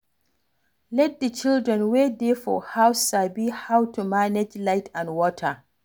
Let di children wey dey for house sabi how to manage light and water